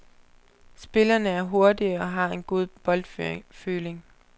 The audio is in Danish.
Spillerne er hurtige og har en god boldføling.